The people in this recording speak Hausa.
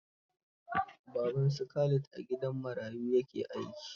Baban su Khalid a gidan marayu ya ke aiki